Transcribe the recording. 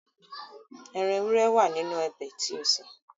Ẹran ewúré wà nínú ọbẹ̀ tí ó sè